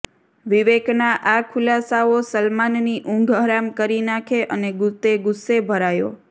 વિવેકના આ ખુલાસાઓ સલમાનની ઉંઘ હરામ કરી નાંખી અને તે ગુસ્સે ભરાયો